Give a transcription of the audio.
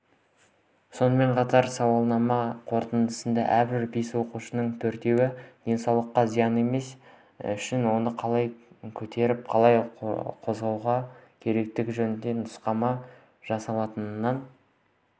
сонымен қатар сауалнама қорытындысында әрбір бес қатысушының төртеуі денсаулыққа зияны тимес үшін оны қалай көтеріп қалай қозғалу керектігі жөнінде нұсқама жасалғанын